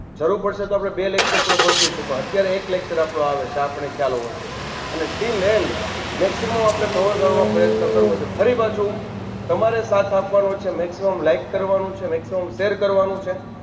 જરૂર પડશે તો આપણે બે lecture પણ ગોઠવીશું પણ અત્યારે એક lecture આપણું આ આવે છે આપણને ખ્યાલ હોવો જોઈએ અને till end maximum આપણે cover કરવાનો પ્રયત્ન કરવો જોઈએ ફરી પાછું તમારે સાથ આપવાનો છે maximum like કરવાનું છે maximum share કરવાનું છે